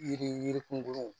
Yiri yirun gun